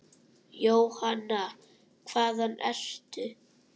Jóhanna: Hvaðan ertu?